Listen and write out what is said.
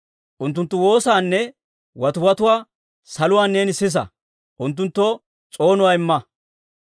unttunttu woosaanne watiwatuwaa saluwaan neeni sisa; unttunttoo s'oonuwaa imma.